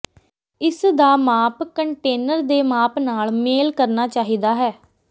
ਇਸ ਦਾ ਮਾਪ ਕੰਟੇਨਰ ਦੇ ਮਾਪ ਨਾਲ ਮੇਲ ਕਰਨਾ ਚਾਹੀਦਾ ਹੈ